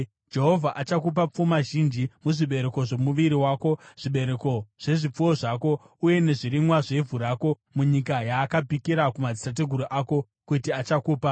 Jehovha achakupa pfuma zhinji, muzvibereko zvomuviri wako, zvibereko zvezvipfuwo zvako uye nezvirimwa zvevhu rako, munyika yaakapikira kumadzitateguru ako kuti achakupa.